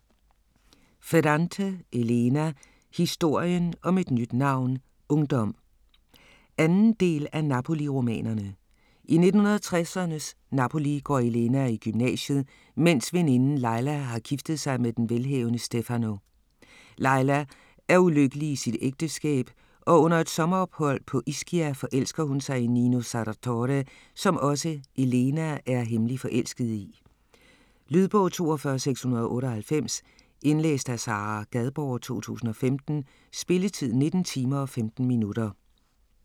Ferrante, Elena: Historien om et nyt navn: ungdom 2. del af Napoli-romanerne. I 1960'ernes Napoli går Elena i gymnasiet, mens veninden Lila har giftet sig med den velhavende Stefano. Lila er ulykkelig i sit ægteskab, og under et sommerophold på Ischia forelsker hun sig i Nino Sarratore, som også Elena er hemmeligt forelsket i. Lydbog 42698 Indlæst af Sara Gadborg, 2015. Spilletid: 19 timer, 15 minutter.